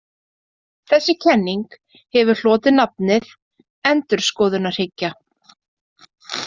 Þessi kenning hefur hlotið nafnið endurskoðunarhyggja.